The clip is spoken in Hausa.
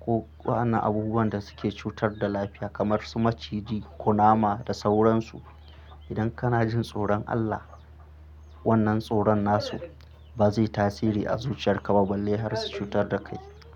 Ko waɗannan abubuwan da suke cutar da lafiya kamar su maciji, kunama da sauransu. Idan kana jin tsoron Allah, wannan tsoron nasu ba zai yi tasiri a zuciyarka ba balle har su cutar da kai.